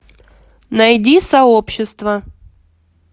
найди сообщество